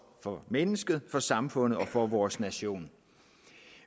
for mennesket for samfundet og for vores nation